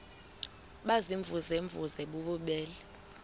baziimvuze mvuze bububele